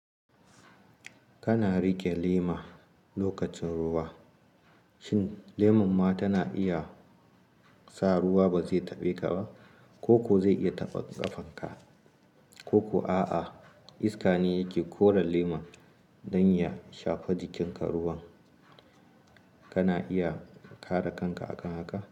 Kana riƙe lema lokacin ruwa, shin leman ma tana iya sa ruwa ba zai taɓe ka ba, ko ko zai iya taɓa ƙafan ka? Ko ko a'a iska ne yake kore leman don ya shafe jikin ka ruwan, kana iya kare kanka akan haka?